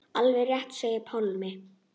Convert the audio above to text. Alveg rétt segir Pálmi.